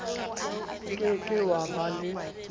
ke ke wa ba le